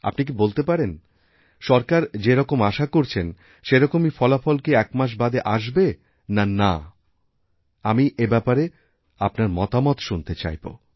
আপনি কি বলতে পারেন সরকার যেরকম আশা করছেন সেরকমই ফলাফল কি একমাসবাদে আসবে না না আমি এব্যাপারে আপনার মতামত শুনতে চাইব